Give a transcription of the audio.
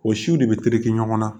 O siw de be terikɛ ɲɔgɔn na